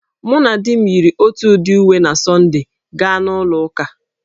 Mụ na di m yiri otu udị uwe na Sọnde gaa na ụlọ ụka